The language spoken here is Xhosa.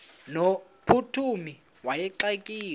no mphuthumi wayexakiwe